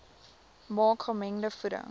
maak gemengde voeding